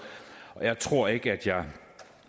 og jeg tror ikke at jeg